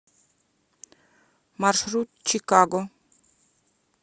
маршрут чикаго